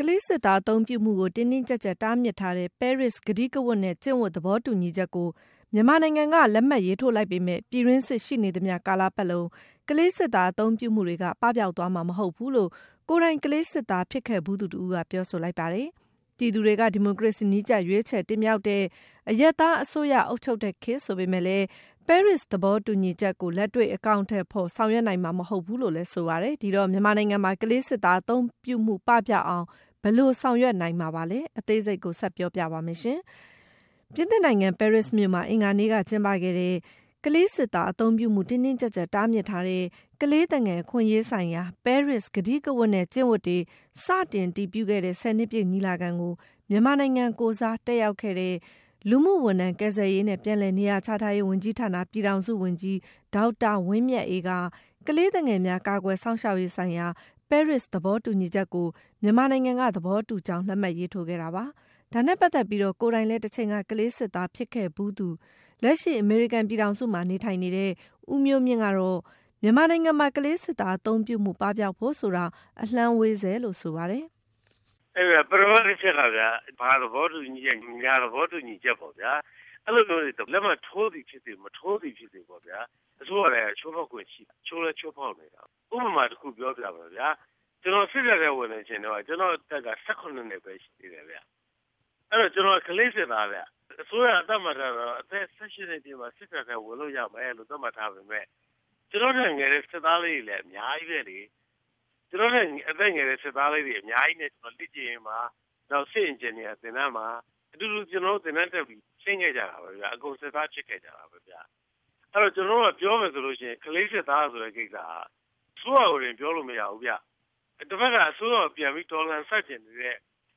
ကလေးစစ်သားအသုံးပြုမှုကို တင်းတင်းကြပ်ကြပ် တားမြစ်ထားတဲ့ ပဲရစ်ကတိကဝတ်နဲ့ ကျင့်ဝတ် သဘောတူညီချက်ကို မြန်မာနိုင်ငံက လက်မှတ်ထိုး လိုက်ပေမဲ့ - ပြည်တွင်းစစ်ရှိနေသမျှ ကာလပတ်လုံး ကလေးစစ်သား အသုံးပြုမှုတွေက ပပျောက်သွားမှာမဟုတ်ဘူးလို့ ကိုယ်တိုင် ကလေးစစ်သား ဖြစ်ခဲ့ဖူးသူတဦးက ပြောဆိုလိုက်ပါတယ်။ ပြည်သူတွေက ဒီမိုကရေစီနည်းကျ ရွေးချယ်တင်မြှောက်တဲ့ အရပ်သားအစိုးရ အုပ်ချုပ်တဲ့ခေတ်ဆိုပေမဲ့လည်း ပဲရစ်သဘောတူညီချက်ကို လက်တွေ့ အကောင်အထည်ဖော် ဆောင်ရွက်နိုင်မှာမဟုတ်ဘူးလို့လည်း ဆိုပါတယ်။ ဒီတော့ မြန်မာနိုင်ငံမှာ ကလေးစစ်သား အသုံးပြုမှု ပပျောက်အောင် ဘယ်လိုဆောင်ရွက်နိုင်မှာပါလဲဆိုတာကိုဆက်သွယ်မေးမြန်းထားတဲ့ မနန္ဒာချမ်း က ပြောပြပါမယ်။ ပြင်သစ်နိုင်ငံ ပဲရစ်မြို့မှာ အင်္ဂါနေ့က ကျင်းပခဲ့တဲ့ ကလေးစစ်သား အသုံးပြုမှု တင်းတင်းကြပ်ကြပ် တားမြစ်ထားတဲ့ ကလေးသူငယ် အခွင့်အရေးဆိုင်ရာ ပဲရစ်ကတိကဝတ်နဲ့ ကျင့်ဝတ်တွေ စတင် အတည်ပြုခဲ့တဲ့ ၁၀ နှစ်ပြည့် ညီလာခံကို မြန်မာနိုင်ငံကိုယ်စား တက်ရောက်ခဲ့သူ လူမှုဝန်ထမ်း၊ ကယ်ဆယ်ရေးနဲ့ ပြန်လည်နေရာချထားရေးဝန်ကြီးဌာန ပြည်ထောင်စုဝန်ကြီး ဒေါက်တာဝင်းမြတ်အေးက - ကလေးသူငယ်များ ကာကွယ်စောင့်ရှောက်ရေးဆိုင်ရာ ပဲရစ် သဘောတူညီချက်ကို မြန်မာနိုင်ငံက သဘောတူကြောင်း လက်မှတ်ရေးထိုးခဲ့တာပါ။ ဒါနဲ့ပတ်သက်ပြီး ကိုယ်တိုင်လည်း တချိန်က ကလေးစစ်သား ဖြစ်ခဲ့ဖူးသူ လက်ရှိ အမေရိကန်ပြည်ထောင်စုမှာ နေထိုင်နေတဲ့ ဦးမျိုးမြင့် ကတော့ မြန်မာနိုင်ငံမှာ ကလေးစစ်သားအသုံးပြုမှု ပပျောက်ဖို့ဆိုတာ အလှမ်းဝေးဆဲလို့ ဆိုပါတယ်။ “ပထမတချက်ကဗျာ ဘာသဘောတူညီချက်၊ ညာသဘောတူညီချက်ပေါ့ဗျာ အဲဒါမျိုးတွေ လက်မှတ်ထိုးသည်ဖြစ်စေ၊ မထိုးသည်ဖြစ်စေ အစိုးရတိုင်းက ချိုးဖောက်ခွင့်ရှိတယ်။ ချိုးလည်းချိုးဖောက်နေတယ်။ ဥပမာတခု ပြောပြမယ်ဗျာ ကျနော် စစ်တပ်ထဲ ဝင်တဲ့အချိန်က ကျနော့်အသက်က ၁၇ နှစ်ပဲ ရှိသေး တယ်ဗျ။ အဲတော့ ကျနော်က ကလေးစစ်သားဗျ။ အစိုးရက သတ်မှတ်ထားတာကတော့ အသက် ၁၈ နှစ်ပြည့်မှ စစ်တပ်ထဲ ဝင်ခွင့်ရှိမယ်ဆိုပေမဲ့ ကျနော့်ထက် ငယ်တဲ့ စစ်သားလေးတွေလည်း အများကြီးပဲလေ။ ကျနော့်ထက် အသက်ငယ်တဲ့ စစ်သားလေးတွေနဲ့ လေ့ကျင့်ရေးမှာ၊ စစ်အင်ဂျင်နီယာ သင်တန်းမှာ အတူတူ သင်တန်းတက်ပြီး ဆင်းခဲ့ကြတာပဲဗျ။ အဲတော့ ကျနော်တို့က ပြောမယ်ဆိုရင် ကလေးစစ်သားဆိုတဲ့ကိစ္စက အစိုးရကိုတင် ပြောလို့မရဘူးဗျ။ တဘက်က အစိုးရကို ပြန်ပြီး တော်လှန်ဆန့်ကျင်နေတဲ့